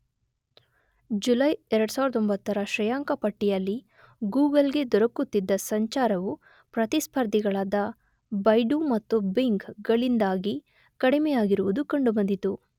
July 2009ರ ಶ್ರೇಯಾಂಕ ಪಟ್ಟಿಯಲ್ಲಿ ಗೋಗಲ್ ಗೆ ದೊರಕುತ್ತಿದ್ದ ಸಂಚಾರವು ಪ್ರತಿಸ್ಪರ್ಧಿಗಳಾದ ಬೈಡು ಮತ್ತು ಬಿಂಗ್ ಗಳಿಂದಾಗಿ ಕಡಿಮೆಯಾಗಿರುವುದು ಕಂಡುಬಂದಿತು.